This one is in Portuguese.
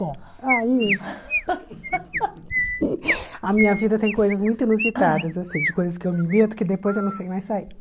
Bom, aí a minha vida tem coisas muito inusitadas assim, de coisas que eu me meto que depois eu não sei mais sair.